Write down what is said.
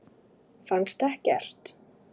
Fannstu ekkert?